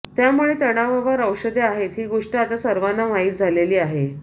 त्यामुळे तणावावर औषधे आहेत ही गोष्ट आता सर्वांना माहीत झालेली आहे